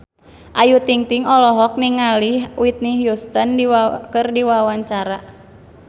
Ayu Ting-ting olohok ningali Whitney Houston keur diwawancara